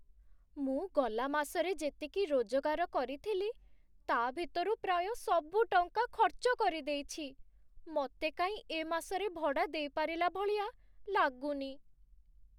ମୁଁ ଗଲା ମାସରେ ଯେତିକି ରୋଜଗାର କରିଥିଲି ତା' ଭିତରୁ ପ୍ରାୟ ସବୁ ଟଙ୍କା ଖର୍ଚ୍ଚ କରିଦେଇଛି । ମତେ କାଇଁ ଏ ମାସରେ ଭଡ଼ା ଦେଇପାରିଲା ଭଳିଆ ଲାଗୁନି ।